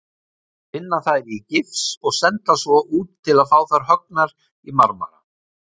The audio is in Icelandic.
Vinna þær í gifs og senda svo út til að fá þær höggnar í marmara.